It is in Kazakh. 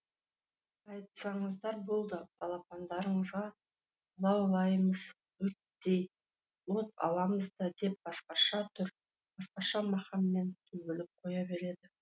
айтсаңыздар болды балапандарыңызға лаулаймыз өрттей от аламыз да деп басқаша түр басқаша мақаммен төгіліп қоя береді